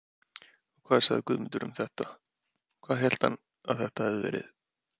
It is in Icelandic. Og hvað sagði Guðmundur um þetta, hvað hélt hann að þetta hefði verið?